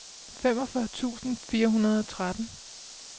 femogfyrre tusind fire hundrede og tretten